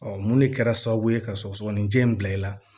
mun de kɛra sababu ye ka sɔgɔsɔgɔninjɛ in bila i la